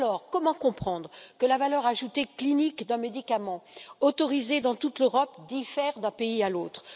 Alors, comment comprendre que la valeur ajoutée clinique d'un médicament autorisé dans toute l'Europe diffère d'un pays à l'autre?